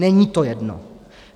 Není to jedno!